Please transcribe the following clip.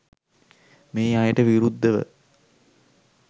මේ අයට විරුද්ධව